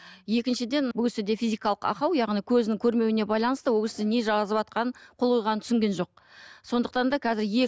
екіншіден бұл кісіде физикалық ақау яғни көзінің көрмеуіне байланысты ол кісі не жазыватқан қол қойғанын түсінген жоқ сондықтан да қазір